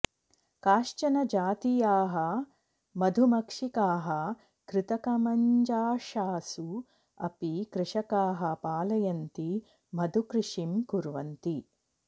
काश्चन जातीयाः मधुमक्षिकाः कृतकमञ्जाषासु अपि कृषकाः पालयन्ति मधुकृषिं कुर्वन्ति